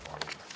Palun!